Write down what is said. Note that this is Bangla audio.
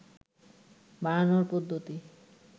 বাড়ানোর পদ্ধতি